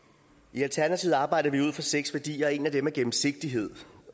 i alternativet arbejder vi ud fra seks værdier og en af dem er gennemsigtighed